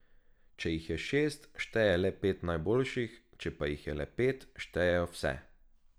Če jih je šest, šteje le pet najboljših, če pa jih je le pet, štejejo vse.